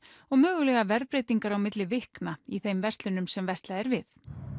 og mögulega verðbreytingar á milli vikna í þeim verslunum sem verslað er við